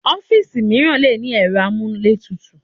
Ọ́fíìsì mìíràn le ní ẹ̀rọ amúlétutù.